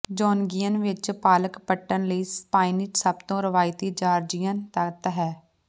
ਜੌਨਗੀਅਨ ਵਿੱਚ ਪਾਲਕ ਪੱਟਣ ਲਈ ਸਪਾਈਨਾਚ ਸਭ ਤੋਂ ਰਵਾਇਤੀ ਜਾਰਜੀਅਨ ਤੱਤ ਹੈ